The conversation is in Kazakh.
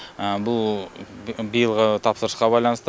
бұл биылғы тапсырысқа байланысты